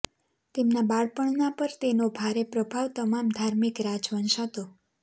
તેમના બાળપણના પર તેનો ભારે પ્રભાવ તમામ ધાર્મિક રાજવંશ હતો